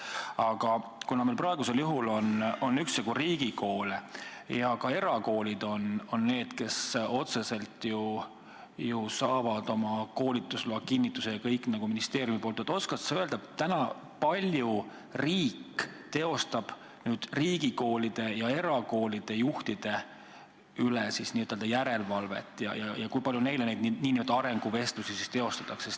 Aga kuna meil praegu on üksjagu riigikoole ja ka erakoolid on need, kes otseselt ju saavad oma koolitusloa kinnituse ja kõik ministeeriumilt, siis oskad sa öelda, kui palju riik teeb riigikoolide ja erakoolide juhtide üle järelevalvet ja kui palju neile neid nn arenguvestlusi tehakse?